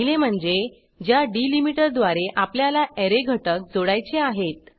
पहिले म्हणजे ज्या डिलीमीटरद्वारे आपल्याला ऍरे घटक जोडायचे आहेत